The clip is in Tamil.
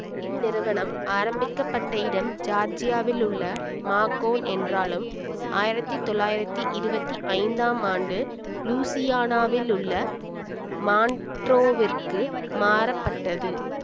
இந்நிறுவனம் ஆரம்பிக்க பட்ட இடம் ஜார்ஜியாவிலுள்ள மாகோன் என்றாலும் ஆயிரத்தி தொள்ளாயிரத்தி இருவத்தி ஐந்தாம் ஆண்டு லூயிசியானாவிலுள்ள மான்ட்ரோவிற்கு மாற்றப்பட்டது